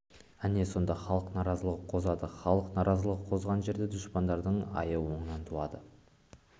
әне сонда халық наразылығы қозады халық наразылығы қозған жерде дұшпандардың айы оңынан туады